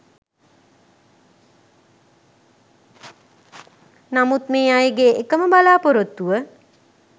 නමුත් මේ අයගේ එකම බලාපොරොත්තුව